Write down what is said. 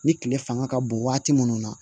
Ni kile fanga ka bon waati minnu na